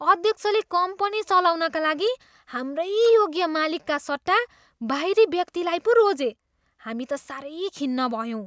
अध्यक्षले कम्पनी चलाउनका लागि हाम्रै योग्य मालिकका सट्टा बाहिरी व्यक्तिलाई पो रोजे। हामी त साह्रै खिन्न भयौँ।